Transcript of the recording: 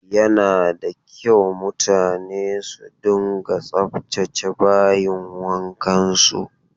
Yana da kyau mutane su dunga tsaftace bayin wankansu.